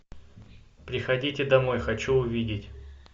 приходите домой хочу увидеть